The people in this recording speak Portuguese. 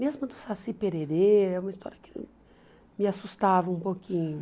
Mesmo do Saci Pererê, é uma história que me assustava um pouquinho.